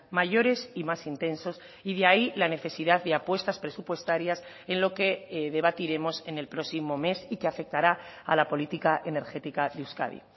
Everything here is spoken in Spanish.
mayores y más intensos y de ahí la necesidad de apuestas presupuestarias en lo que debatiremos en el próximo mes y que afectará a la política energética de euskadi